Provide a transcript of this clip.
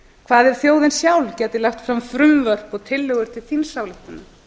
hvað ef þjóðin sjálf gæti lagt fram frumvörp og tillögur til þingsályktunar